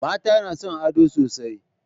Mata na son ado sosai